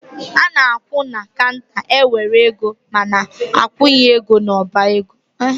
A na-akwụ na kanter e were ego ma na-akwunye ego n'ọba ego.